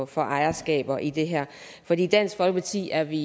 for ejerskaber i det her for i dansk folkeparti er vi